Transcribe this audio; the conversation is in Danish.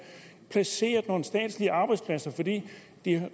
placeret nogle statslige arbejdspladser fordi